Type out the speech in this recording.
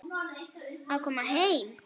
Að koma heim